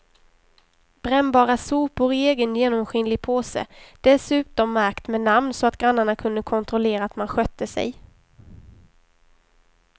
Brännbara sopor i egen genomskinlig påse, dessutom märkt med namn så att grannarna kunde kontrollera att man skötte sig.